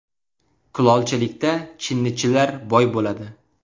Kulolchilikda chinnichilar boy bo‘ladi.